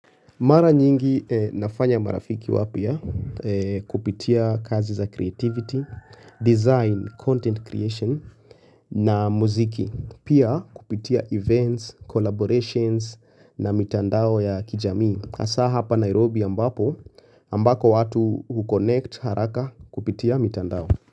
Mara nyingi nafanya marafiki wapya kupitia kazi za creativity, design, content creation na muziki. Pia kupitia events, collaborations na mitandao ya kijami. Asa hapa Nairobi ambapo ambako watu huconnect haraka kupitia mitandao.